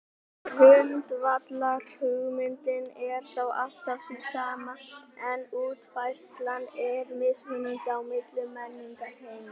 Grundvallarhugmyndin er þá alltaf sú sama en útfærslan er mismunandi á milli menningarheima.